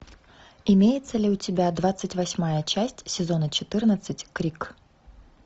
имеется ли у тебя двадцать восьмая часть сезона четырнадцать крик